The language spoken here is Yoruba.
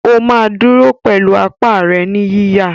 ó máa dúró pẹ̀lú apá rẹ̀ ní yíyà.